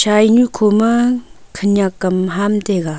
chainu khoma khanyak kam ham taiga.